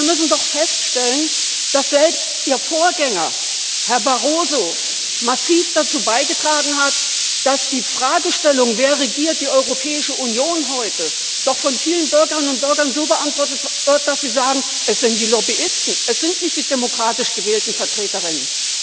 Wir müssen doch feststellen, dass selbst Ihr Vorgänger, Herr Barroso, massiv dazu beigetragen hat, dass die Fragestellung, wer die Europäische Union heute regiert, doch von vielen Bürgerinnen und Bürgern so beantwortet wird, dass sie sagen Es sind die Lobbyisten, es sind nicht die demokratisch gewählten VertreterInnen.